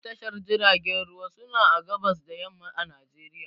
Duka tashar jiragen ruwa suna a gabas da yamma a Najeriya